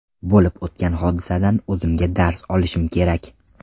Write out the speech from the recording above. Bo‘lib o‘tgan hodisadan o‘zimga dars olishim kerak.